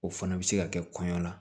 O fana bɛ se ka kɛ kɔɲɔ la